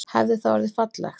Hefði það orðið fallegt?